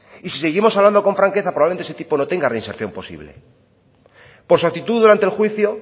y si seguimos hablando con franqueza probablemente ese tipo no tenga reinserción posible por su actitud durante el juicio